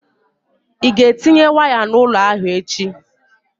Ị ga-etinye waya n'ụlọ ahụ echi?